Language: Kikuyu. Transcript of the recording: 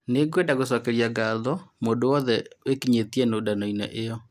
Nĩ ngwenda gũcokeria ngatho mũndũ wothe wekinyĩtie nũndano-inĩ ĩyo.